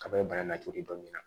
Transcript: Ka bɔ bana la cogo di dɔnni na